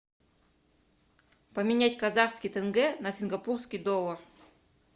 поменять казахский тенге на сингапурский доллар